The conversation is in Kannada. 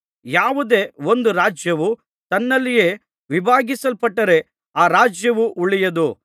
ಯಾವುದೇ ಒಂದು ರಾಜ್ಯವು ತನ್ನಲ್ಲಿಯೇ ವಿಭಾಗಿಸಲ್ಪಟ್ಟರೆ ಆ ರಾಜ್ಯವು ಉಳಿಯದು